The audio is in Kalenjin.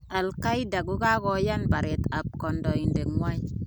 Al_qaenda kokakoyan baret ab kondoidet nywan.